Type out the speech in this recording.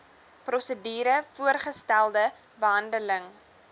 prosedure voorgestelde behandeling